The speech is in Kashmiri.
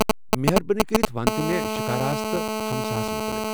مہربٲنی کٔرِتھ ونتہٕ مےٚ شکاراہس متعلق۔